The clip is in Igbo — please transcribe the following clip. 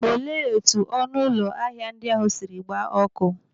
Olee etu ọnụ ụlọ ahịa ndị ahụ siri gbaa ọkụ?